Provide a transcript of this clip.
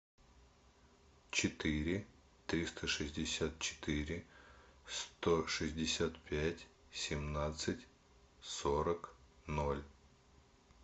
четыре триста шестьдесят четыре сто шестьдесят пять семнадцать сорок ноль